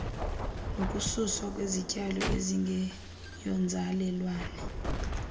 nokususwa kwezityalo ezingeyonzalelwane